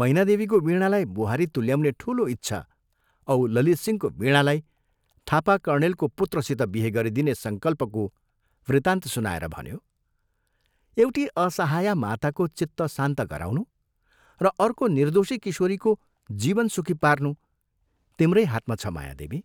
मैनादेवीको वीणालाई बुहारी तुल्याउने ठूलो इच्छा औ ललितसिंहको वीणालाई थापा कर्णेलको पुत्रसित बिहे गरिदिने संकल्पको वृत्तान्त सुनाएर भन्यो, " एउटी असहाया माताको चित्त शान्त गराउनु र अर्को निर्दोषी किशोरीको जीवन सुखी पार्नु तिम्रै हातमा छ मायादेवी!